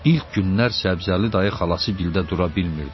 İlk günlər Səbzəli dayı xalasıgildə dura bilmirdi.